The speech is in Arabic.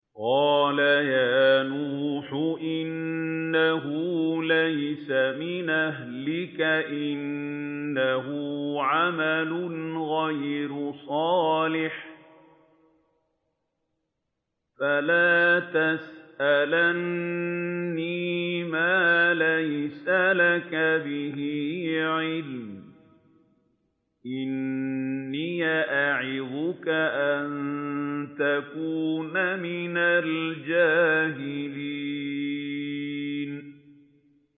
قَالَ يَا نُوحُ إِنَّهُ لَيْسَ مِنْ أَهْلِكَ ۖ إِنَّهُ عَمَلٌ غَيْرُ صَالِحٍ ۖ فَلَا تَسْأَلْنِ مَا لَيْسَ لَكَ بِهِ عِلْمٌ ۖ إِنِّي أَعِظُكَ أَن تَكُونَ مِنَ الْجَاهِلِينَ